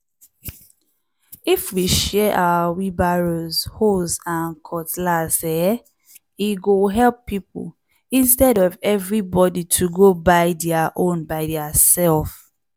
if we share our wheelbarrows hoes and cutlass eeh! e go help people intead of everybody to go buy dia own by diaself.